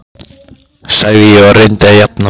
sagði ég og reyndi að jafna mig.